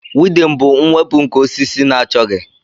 weedin bụ mwepụ nke osisi na-achọghị